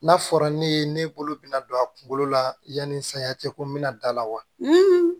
N'a fɔra ne ye ne bolo bɛna don a kunkolo la yanni saya cɛ ko n bɛna da la wa